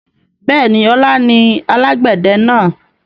Bẹ́ẹ̀ni, ọlá ni alàgbẹ̀dẹ náà.